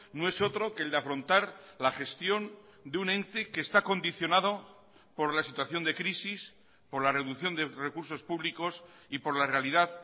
no es otro que el de afrontar la gestión de un ente que está condicionado por la situación de crisis por la reducción de recursos públicos y por la realidad